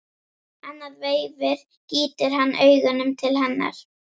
Annað veifið gýtur hann augunum til hennar.